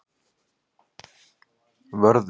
Vörður